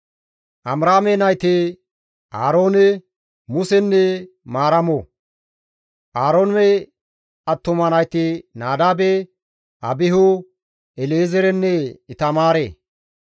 Amiraame nayti Aaroone, Musenne Maaramo. Aaroone attuma nayti Nadaabe, Abihu, El7ezeerenne Itamaare.